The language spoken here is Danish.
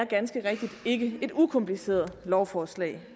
ganske rigtigt ikke er et ukompliceret lovforslag